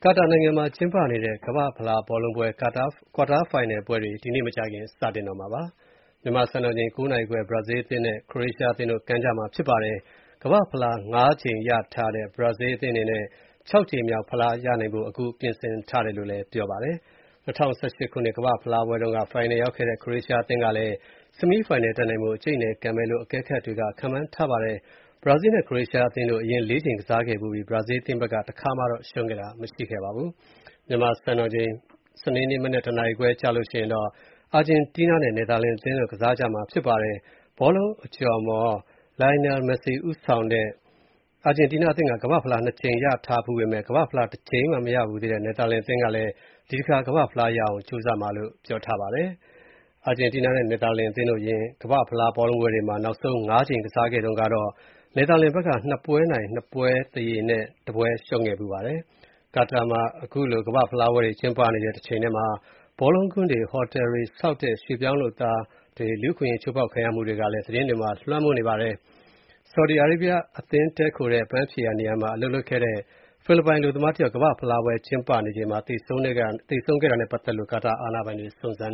ာတာနိုင်ငံမှာကျင်းပနေတဲ့ ကမ္ဘာ့ဖလားပွဲဘောလုံး ကွာတာဖိုင်နယ်ပွဲတွေ ဒီနေ့ မကြာခင်အချိန်မှာ စတင်တော့မှာဖြစ်ပါတယ်။ မြန်မာစံတော်ချိန် ၉ နာရီခွဲမှာ Brazil အသင်းနဲ့ Croatia အသင်းတို့ ကန်ကြမှာဖြစ်ပါတယ်။ ကမ္ဘာ့ဖလား ၅ ကြိမ် ရထားတဲ့ Brazil အသင်းအနေနဲ့ ၆ ကြိမ်မြောက်ဖလားရနိုင်ဖို့ ပြင်ဆင်ထားတယ်လို့ ပြောပါတယ်။ ၂၀၁၈ ကမ္ဘာ့ဖလားပွဲတုန်းက ဖိုင်နယ်ရောက်ခဲ့တဲ့ Croatia အသင်းဘက်ကလည်း ဆီမီးဖိုင်နယ်တက်နိုင်ဖို့ အကြိတ်အနယ် ကန်မယ်လို့ ခန့်မှန်းရပါတယ်။ Brazil နဲ့ Croatia အသင်းတို့ အရင် ၄ ကြိမ်ကစားခဲ့ဖူးပြီး Brazil အသင်းဘက်က တခါမှ မရှုံးခဲ့ဖူးပါဘူး။ မြန်မာစံတော်ချိန် စနေနေ့မနက် ၁ နာရီခွဲကျရင်တော့ Argentina နဲ့ Netherlands အသင်းတို့ ကစားကြမှာဖြစ်ပါတယ်။ ဘောလုံးအကျော်အမော် Lionel Messi ဦးဆောင်တဲ့ Argentina အသင်းက ကမ္ဘာ့ဖလား ၂ ကြိမ်ရထားဖူးပေမဲ့ ကမ္ဘာ့ဖလား တကြိမ်မှမရဘူးသေးတဲ့ Netherlands အသင်းကလည်း ဒီတခါ ဖလားရအောင် ကြိုးစားကြမှာဖြစ်ပါတယ်။ Argentina နဲ့ Netherlands တို့ အရင် ကမ္ဘာ့ဖလားပွဲတွေမှာ ၆ ကြိမ်ကြုံခဲ့ဖူးပါတယ်။ ကာတာနိုင်ငံမှာ ခုလို ကမ္ဘာ့ဖလားပွဲတွေ ကျင်းပနေတဲ့တချိန်တည်းမှာ ဘောလုံးကွင်းတွေ၊ ဟိုတယ်တွေဆောက်တဲ့ ရွှေ့ပြောင်းဆောက်လုပ်ရေးလုပ်သားတွေ လူ့အခွင့်အရေးချိုးဖောက်ခံရမှုတွေကလည်း သတင်းတွေမှာ လွှမ်းမိုးနေပါတယ်။ Saudi Arabia အသင်းတည်းခိုတဲ့ အပန်းဖြေနေရာမှာအလုပ်လုပ်နေတဲ့ ဖိလစ်ပိုင် အလုပ်သမားတယောက် ကမ္ဘာ့ဖလားပွဲကျင်းပနေချိန်မှာ သေဆုံးခဲ့တာနဲ့ပတ်သက်လို့ ကာတာအာဏာပိုင်တွေ စုံစမ်